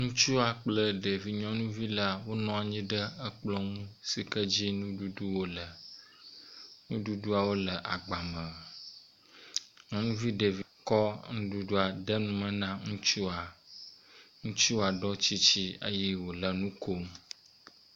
Ŋutsua kple ɖevi nyɔnuvila wo nɔ anyi ɖe kplɔ nu si ke dzi nuɖuɖuwo le. Nuɖuɖuwo le agba me. nyɔnuvi ɖevi kɔ nuɖuɖua de nu me na ŋutsua. Ŋutsua ɖɔ tsitsi eye wo le nu kom.